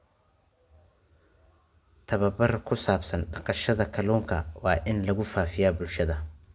Tababar ku saabsan dhaqashada kalluunka waa in lagu faafiyaa bulshada.